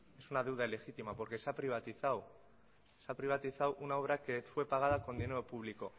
es una deuda legítima porque se ha privatizado una obra que fue pagada con dinero público